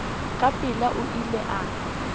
ka pela o ile a